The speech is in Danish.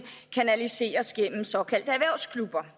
kanaliseres gennem såkaldte erhvervsklubber